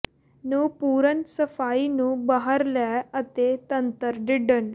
ਨੂੰ ਪੂਰਨ ਸਫਾਈ ਨੂੰ ਬਾਹਰ ਲੈ ਅਤੇ ਤੰਤਰ ਢਿਡ੍ਡ